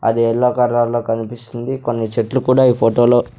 అది యెల్లో కర్రర్లో కన్పిస్తుంది కొన్ని చెట్లు కూడా ఈ ఫోటో లో.